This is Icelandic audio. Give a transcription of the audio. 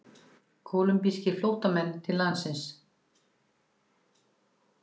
Kólumbískir flóttamenn til landsins